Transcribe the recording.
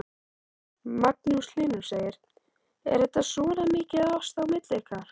Magnús Hlynur: Er þetta svona mikið ást á milli ykkar?